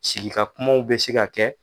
Sigikakumaw bɛ se ka kɛ.